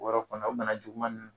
Wɔrɔ kɔnɔ o nana juguman min